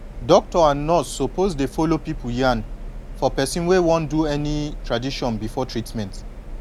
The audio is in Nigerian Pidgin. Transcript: doctor and nurse suppose dey follow pipu yan for person wey wan do any tradition before treatment